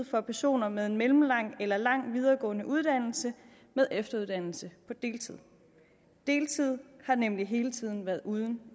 for personer med en mellemlang eller lang videregående uddannelse med efteruddannelse på deltid deltid har nemlig hele tiden været uden